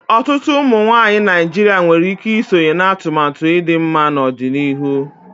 Ọtụtụ ụmụ nwoke Naijiria nwere ike isonye na atụmatụ ịdị mma n'ọdịnihu.